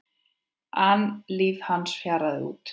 an líf hans fjaraði út.